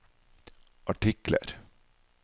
artikler